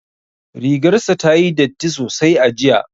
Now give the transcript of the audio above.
Rigar sa ta yi datti sosai a jiya